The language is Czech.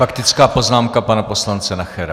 Faktická poznámka pana poslance Nachera.